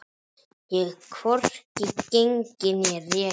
Og hvorki gengið né rekið.